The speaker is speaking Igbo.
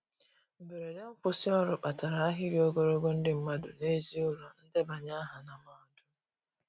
Mgberede nkwusi ọrụ kpatara ahịrị ogologo ndi madu n'ezi ụlọ ndebanye aha na mahadum